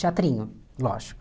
Teatrinho, lógico.